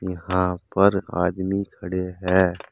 हां पर आदमी खड़े हैं।